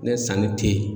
Ne sanni te yen